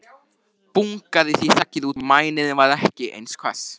Bungaði því þakið út, og mænirinn varð ekki eins hvass.